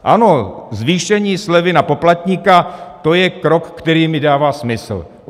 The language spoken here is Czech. Ano, zvýšení slevy na poplatníka, to je krok, který mi dává smysl.